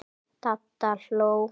Dadda hló.